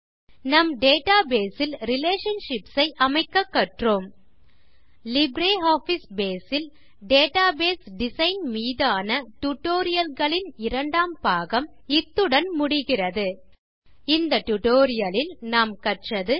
நம் டேட்டாபேஸ் ல் ரிலேஷன்ஷிப்ஸ் ஐ அமைக்க கற்றோம் லிப்ரியாஃபிஸ் பேஸ் ல் டேட்டாபேஸ் டிசைன் மீதான டியூட்டோரியல்ஸ் ன் இரண்டாம் பாகம் இத்துடன் முடிகிறது இந்த டியூட்டோரியல் லில் நாம் கற்றது 4